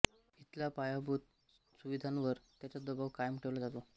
इथल्या पायाभूत सुविधांवर याचा दबाव कायम ठेवला जातो